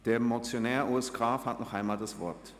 Der Motionär Urs Graf hat nochmals das Wort.